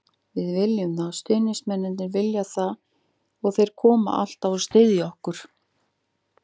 Við viljum það, stuðningsmennirnir vilja það og þeir koma alltaf og styðja okkur.